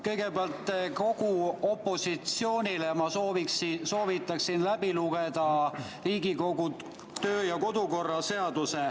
Kõigepealt, kogu opositsioonil ma soovitaksin läbi lugeda Riigikogu töö‑ ja kodukorra seaduse.